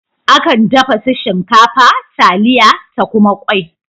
Akan dafa su shinkafa, taliya ta kuma kwai